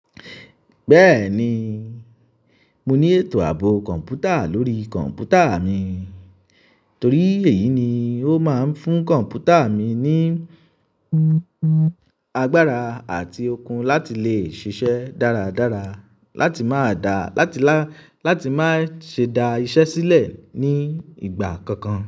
Bẹ́ẹ̀ni mo ní ètò àbò computa lórí computa mi torí èyí ni ó máa ń fún computa mi ní agbára àti okun la ti lè ṣiṣẹ́ dáradára, láti lè má ṣe dá iṣẹ́ sílẹ̀ ìgbà kankan.